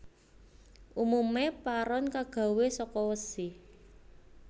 Umume paron kagawe saka wesi